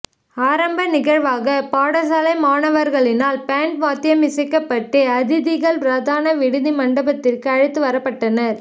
ஆரம்ப நிகழ்வாக பாடசாலை மாணவர்களினால் பேன்ட் வாத்தியம் இசைக்கப்பட்டு அதிதிகள் பிரதான விடுதி மண்டபத்திற்கு அழைத்து வரப்பட்டனர்